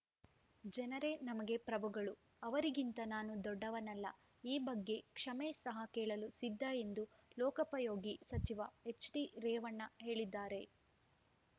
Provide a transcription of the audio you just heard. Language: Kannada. ಜನರೇ ನಮಗೆ ಪ್ರಭುಗಳು ಅವರಿಗಿಂತ ನಾನು ದೊಡ್ಡವನಲ್ಲ ಈ ಬಗ್ಗೆ ಕ್ಷಮೆ ಸಹ ಕೇಳಲು ಸಿದ್ಧ ಎಂದು ಲೋಕೋಪಯೋಗಿ ಸಚಿವ ಎಚ್‌ಡಿ ರೇವಣ್ಣ ಹೇಳಿದ್ದಾರೆ